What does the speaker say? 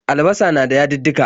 Albasa na da yadudduka.